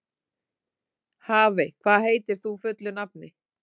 Hafey, hvað heitir þú fullu nafni?